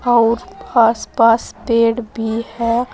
और आसपास पेड़ भी है।